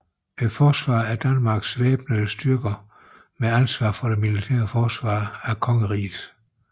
Forsvaret er Danmarks væbnede styrker med ansvar for det militære forsvar af kongeriget